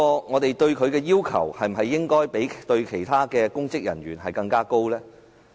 我們對她的要求，是否應比對其他公職人員的要求更高？